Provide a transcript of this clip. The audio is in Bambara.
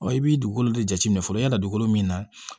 i b'i dugukolo de jateminɛ fɔlɔ i ka na dugukolo min na